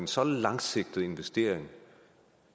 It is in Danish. så langsigtet investering